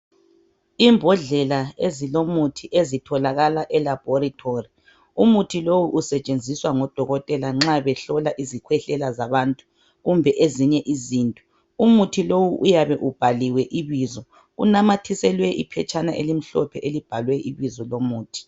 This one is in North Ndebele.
Imbodlela ezilomuthi ezitholakala elabhorithori. Umuthi lowu usetshenziswa ngodokotela nxa behlola izikhwehlela zabantu kumbe ezinye izinto. Umuthi lowu uyabe ubhaliwe ibizo. Unamathiselwe iphetshana elimhlophe elibhalwe ibizo lomuthi.